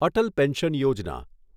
Atal pension Yojana